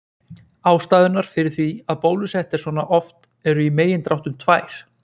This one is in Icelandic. ástæðurnar fyrir því að bólusett er svona oft eru í megindráttum tvær